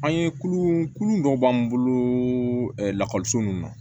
An ye kulu kurun dɔ b'an bolo lakɔliso nunun na